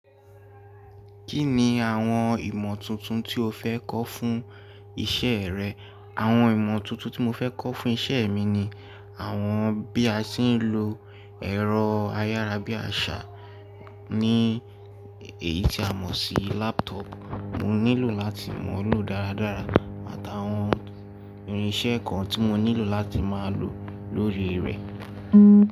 Kí ni àwọn ìmọ̀ tuntun tí o fẹ́ kọ́ fún iṣẹ́ rẹ? Àwọn ìmọ̀ tuntun tí mo fẹ́ kọ́ fún iṣẹ́ mi ni àwọn bí a ṣe ń lo ẹ̀rọ ayára bí àṣá ní èyí tí a mọ̀ sí laptop. Mo nílò láti mọ̀ ọ́ lò dáradára àtàwọn irinṣẹ́ kan tí mo nílò láti máa lò lórí rẹ̀.